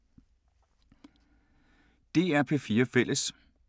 DR P4 Fælles